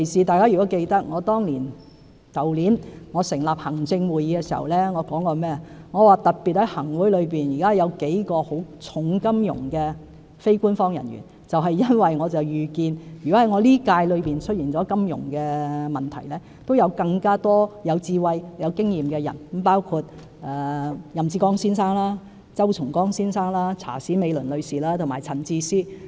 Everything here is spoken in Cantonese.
大家如果記得，我去年成立行政會議時，說現時在行政會議內有數位金融界的非官守議員，因為我預見一旦任內出現金融問題，也有更多有智慧和有經驗的人士，包括任志剛先生、周松崗先生、查史美倫女士和陳智思先生。